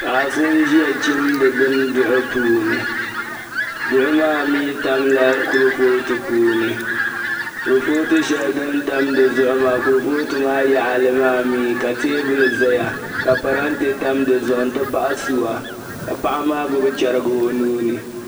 Paɣa so n-ʒia chimdi bini duɣu puuni duɣu maa mi tamla kurifootu zuɣu kurifootu shɛli di ni tam di zuɣu maa kurifootu maa yaɣili maa mi ka teebuli zaya ka parante tam di zuɣu nti pahi sua ka paɣa maa gbibi chɛriga o nuu ni.